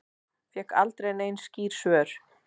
Fékk aldrei nein skýr svör.